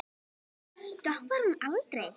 Stoppar hún aldrei?